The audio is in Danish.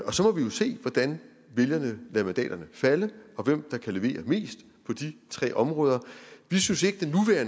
og så må vi jo se hvordan vælgerne lader mandaterne falde og hvem der kan levere mest på de tre områder vi synes ikke